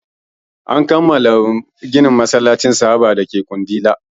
An kammala ginin masallacin sahaba dake kundila